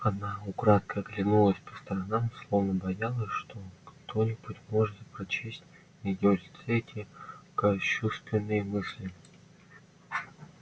она украдкой оглянулась по сторонам словно боялась что кто-нибудь может прочесть на её лице эти кощунственные мысли